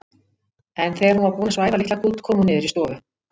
En þegar hún var búin að svæfa litla kút kom hún niður í stofu.